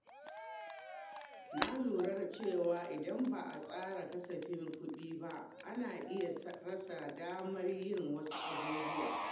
Na lura cewa idan ba a tsara kasafin kuɗi ba, ana iya rasa damar yin wasu abubuwa.